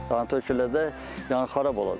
Yəni töküləcək, yəni xarab olacaq.